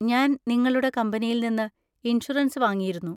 ഞാൻ നിങ്ങളുടെ കമ്പനിയിൽ നിന്ന് ഇൻഷുറൻസ് വാങ്ങിയിരുന്നു.